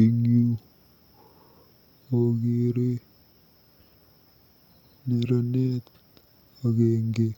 Eng yu akeere neranet agenge